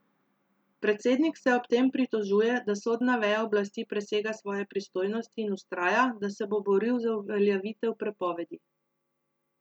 Predsednik se ob tem pritožuje, da sodna veja oblasti presega svoje pristojnosti in vztraja, da se bo boril za uveljavitev prepovedi.